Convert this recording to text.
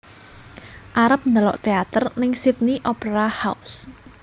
Arep ndelok teater ning Sydney Opera House